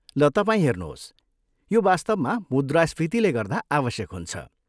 ल तपाईँ हेर्नुहोस्, यो वास्तवमा मुद्रास्फीतिले गर्दा आवश्यक हुन्छ।